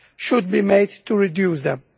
should be made to reduce them.